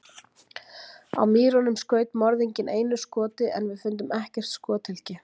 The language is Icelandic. Á Mýrunum skaut morðinginn einu skoti en við fundum ekkert skothylki.